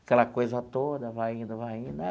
Aquela coisa toda, vai indo, vai indo.